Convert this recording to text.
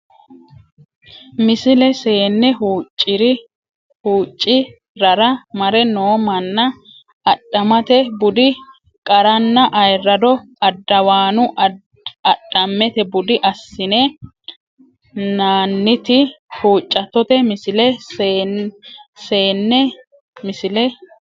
Misile Seene huucci rara mare noo manna Adhammete budi qaranna ayirrado Addawaanu adhammete budi assine nanniti huuccattote Misile Seene Misile.